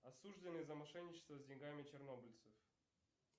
осужденный за мошенничество с деньгами чернобыльцев